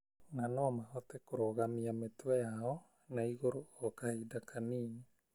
na no mahote kũrũgamia mĩtwe yao na igũrũ o kahinda kanini.